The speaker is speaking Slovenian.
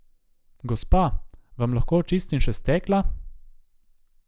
Gospa, vam lahko očistim še stekla?